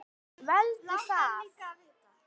Veldu það.